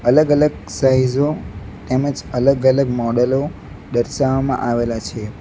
અલગ-અલગ સાઇઝો તેમજ અલગ-અલગ મોડેલો દર્શાવવામાં આવેલા છે.